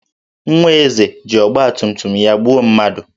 Nwa Eze ji ọgbatumtum ya gbuo mmadụ